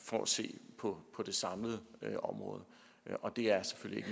for at se på det samlede område det er selvfølgelig